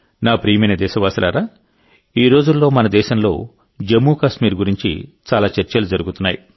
నా ప్రియమైన దేశవాసులారాఈ రోజుల్లో మన దేశంలో జమ్మూ కాశ్మీర్ గురించి చాలా చర్చలు జరుగుతున్నాయి